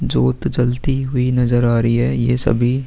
ज्योत जलती हुई नजर आ रही है। ये सभी --